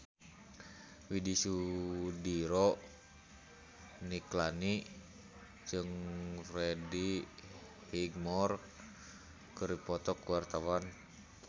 Widy Soediro Nichlany jeung Freddie Highmore keur dipoto ku wartawan